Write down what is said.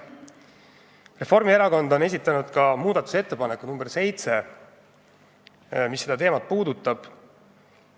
Reformierakond on esitanud ka muudatusettepaneku nr 7, mis seda teemat puudutab.